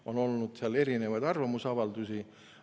On olnud erinevaid arvamusavaldusi.